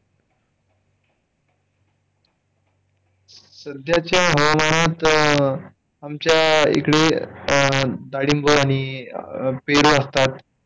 सध्याच्या हवामानात आमच्या इकडे डाळिंब आणि पेरू असतात.